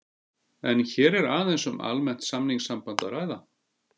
Er hér aðeins um almennt samningssamband að ræða.